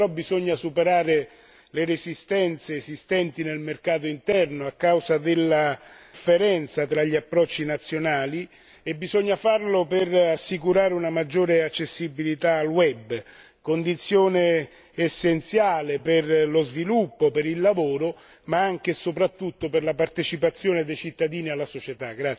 Adesso però bisogna superare le resistenze esistenti nel mercato interno a causa della differenza tra gli approcci nazionali e bisogna farlo per assicurare una maggiore accessibilità al web, condizione essenziale per lo sviluppo, per il lavoro ma anche e soprattutto per la partecipazione dei cittadini alla società.